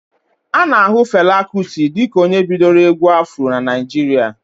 A na ahu Fela Kuti dịka onye bidoro egwu Afro n'Naijiria